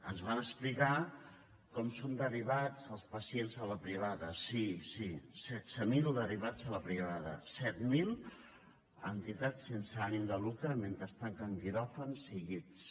ens van explicar com són derivats els pacients a la privada sí sí setze mil derivats a la privada set mil a entitats sense ànim de lucre mentre es tanquen quiròfans i llits